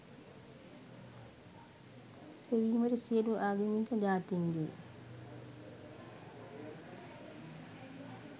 සෙවීමට සියලු ආගමික ජාතීන්ගේ